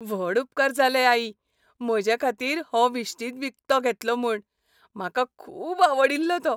व्हड उपकार जाले, आई, म्हजेखातीर हो विश्तीद विकतो घेतलो म्हूण, म्हाका खूब आवडिल्लो तो.